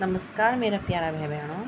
नमस्कार मेरा प्यारा भै बैणों।